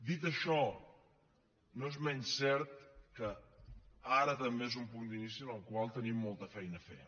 dit això no és menys cert que ara també és un punt d’inici en el qual tenim molta feina a fer